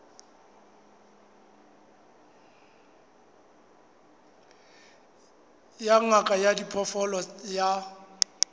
ya ngaka ya diphoofolo ya